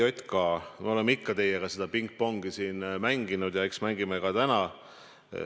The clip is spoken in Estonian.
ERJK, me oleme ikka teiega seda pingpongi siin mänginud ja eks mängime ka täna.